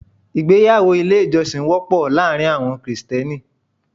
Ìgbéyàwó ilé ìjọsìn wọ́pọ̀ láàárín àwọn Krìsìtẹ́nì.